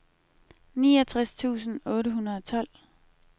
niogtres tusind otte hundrede og tolv